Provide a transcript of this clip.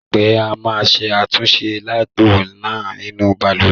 Láìpẹ́, a máa ṣe àtúnṣe táàpù náà nínú balùwẹ̀.